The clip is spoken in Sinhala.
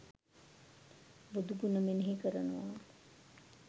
බුදුගුණ මෙනෙහි කරනවා.